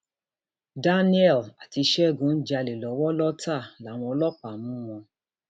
daniel àti ṣẹgun ń jalè lọwọ lọtà làwọn ọlọpàá mú wọn